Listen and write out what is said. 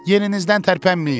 Yerinizdən tərpənməyin!